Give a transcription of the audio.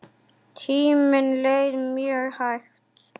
Tíminn leið mjög hægt.